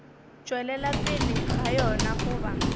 tšwelela pele ga yona goba